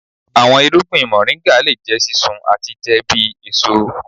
Awọn irugbin Moringa le jẹ sisun ati jẹ bi eso.